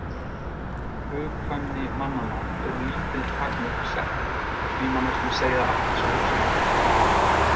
Hugkvæmni mannanna eru lítil takmörk sett og því má næstum segja að allt sé hugsanlegt.